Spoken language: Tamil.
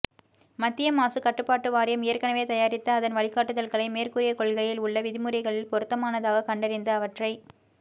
மத்திய மாசுக் கட்டுப்பாட்டு வாரியம் ஏற்கெனவே தயாரித்த அதன் வழிகாட்டுதல்களை மேற்கூறிய கொள்கையில் உள்ள விதிமுறைகளில் பொருத்தமானதாகக் கண்டறிந்து அவற்றை